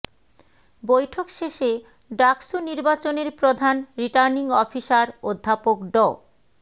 বৈঠক শেষে ডাকসু নির্বাচনের প্রধান রিটার্নিং অফিসার অধ্যাপক ড